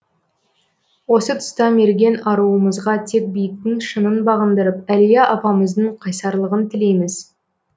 осы тұста мерген аруымызға тек биіктің шыңын бағындырып әлия апамыздың қайсарлығын тілейміз